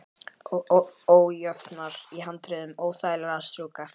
Og ójöfnurnar í handriðinu óþægilegar að strjúka eftir.